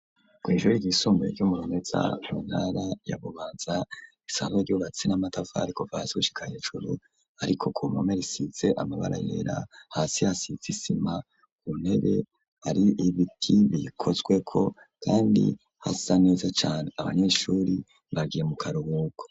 kw'ishure ry'isumbuye ry'umurumeza muntara ya bubanza isanzwe ryubatse n'amatafari kuva hasi gushika hejuru ariko ku mpome risize amabara yera hasi hasize isima ku ntebe ari ibiti bikozwe ko kandi hasa neza cane, abanyeshuri bagiye mu karubuko.